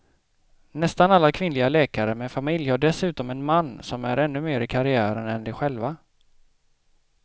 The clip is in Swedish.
Nästan alla kvinnliga läkare med familj har dessutom en man som är ännu mer i karriären än de själva.